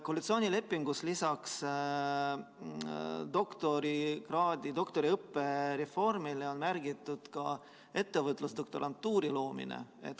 Koalitsioonilepingusse on lisaks doktoriõppe reformile märgitud ka ettevõtlusdoktorantuuri loomine.